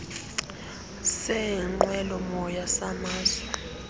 seenqwelo moya samazwe